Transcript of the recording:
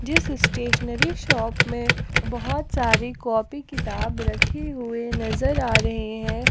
जिस stationery shop में बहुत सारी कॉपी किताब रखे हुए नजर आ रहे हैं।